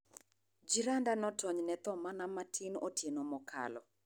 Jiranda notonyne thoo mana matin otieno mokalo.